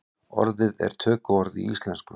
Orðið er tökuorð í íslensku.